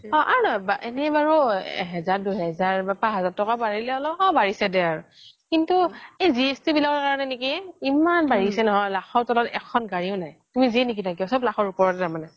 অ আ এনেই বাৰু এহেজাৰ দুহেজাৰ পাছ হাজাৰ বাঢ়িছে অলপ বাঢ়িছে আৰু কিন্তু GST বিলাকৰ বাবে নেকি ইমান বাঢ়িছে নহয় লাখৰ তলত এখন গাড়ীও নাই তুমি যিয়ে নিকিনা কিয় চব লাখৰ ওপৰতে মানে